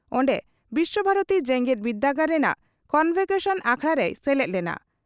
ᱚᱱᱰᱮ ᱵᱤᱥᱣᱚᱵᱷᱟᱨᱚᱛᱤ ᱡᱮᱜᱮᱛ ᱵᱤᱨᱫᱟᱹᱜᱟᱲ ᱨᱮᱱᱟᱜ ᱠᱚᱱᱵᱷᱚᱠᱮᱥᱚᱱ ᱟᱠᱷᱲᱟ ᱨᱮᱭ ᱥᱮᱞᱮᱫ ᱞᱮᱱᱟ ᱾